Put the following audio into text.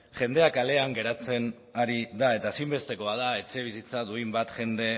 jendea kalean geratzen ari da eta ezinbestekoa da etxebizitza duin bat jende